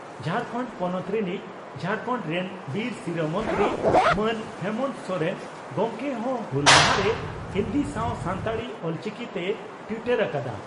ᱡᱷᱟᱨᱠᱟᱱᱰ ᱯᱚᱱᱚᱛ ᱨᱤᱱᱤᱡ ᱡᱷᱟᱲᱠᱷᱚᱱᱰ ᱨᱮᱱ ᱵᱤᱨ ᱥᱤᱨᱟᱹ ᱢᱚᱱᱛᱨᱤ ᱢᱟᱱ ᱦᱮᱢᱚᱱᱛᱚ ᱥᱚᱨᱮᱱ ᱜᱚᱢᱠᱮ ᱦᱚᱸ ᱦᱩᱞ ᱢᱟᱦᱟ ᱨᱮ ᱦᱤᱱᱫᱤ ᱥᱟᱣ ᱥᱟᱱᱛᱟᱲᱤ (ᱚᱞᱪᱤᱠᱤ) ᱛᱮᱭ ᱴᱤᱭᱴᱚᱨ ᱟᱠᱟᱫᱼᱟ ᱾